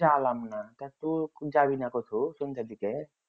জালাম না তু যাবিনা কঠু সন্ধাদিগে